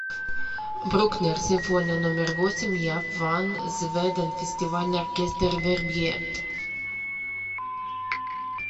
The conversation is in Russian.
брукнер симфония номер восемь яп ван зведен фестивальный оркестр вербье